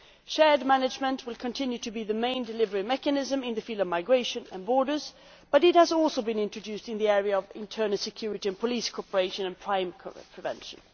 Shared management will continue to be the main delivery mechanism in the field of migration and borders, and it has also been introduced in the areas of internal security and police cooperation and crime prevention.